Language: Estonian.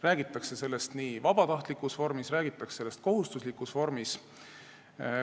Räägitakse sellest nii vabatahtlikus kui ka kohustuslikus vormis.